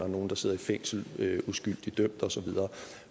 nogle der sidder i fængsel uskyldigt dømt og så videre